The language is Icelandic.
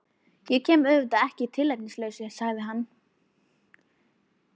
Ég kem auðvitað ekki að tilefnislausu, sagði hann.